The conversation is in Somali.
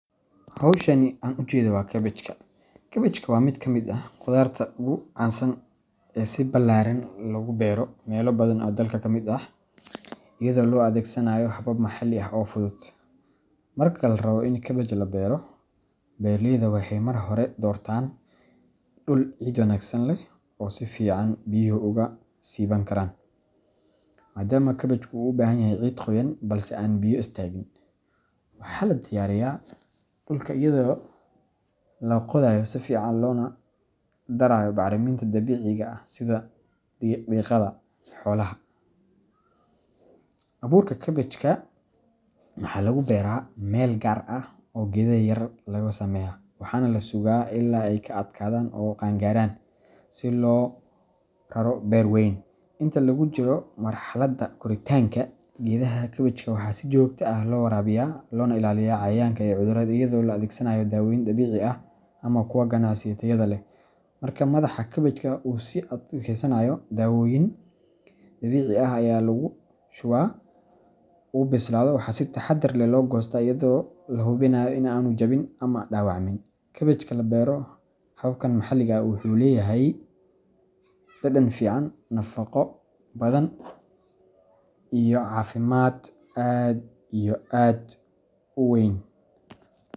Howshani an ujedo waa kabaajka. Kabaajka waa mid ka mid ah khudaarta ugu caansan ee si ballaaran loogu beero meelo badan oo dalka ka mid ah, iyadoo loo adeegsanayo habab maxalli ah oo fudud. Marka la rabo in kabaaj la beero, beeraleyda waxay marka hore doortaan dhul ciid wanaagsan leh oo si fiican biyuhu uga siiban karaan, maadaama kabaajku u baahan yahay ciid qoyan balse aan biyo istaagin. Waxa la diyaariyaa dhulka iyadoo la qodayo si fiican loona darayo bacriminta dabiiciga ah sida digada xoolaha. Abuurka kabaajka waxa lagu beeraa meel gaar ah oo geedo yaryar looga sameeyo, waxaana la sugaa ilaa ay ka adkaadaan oo qaangaraan si loogu raro beer weyn. Inta lagu jiro marxaladda koritaanka, geedaha kabaajka waxaa si joogto ah loo waraabiyaa, loogana ilaaliyaa cayayaanka iyo cudurrada iyadoo la adeegsanayo dawooyin dabiici ah ama kuwa ganacsi ee tayada leh. Marka madaxa kabaajka uu si fiican u adkaado oo u bislaado, waxa si taxaddar leh loo goostaa iyadoo la hubinayo in aanu jabin ama dhaawacmin. Kabaajka la beero habkan maxalliga ah wuxuu leeyahay dhadhan fiican, nafaqo badan, iyo cafimad aad iyo aad u weyn.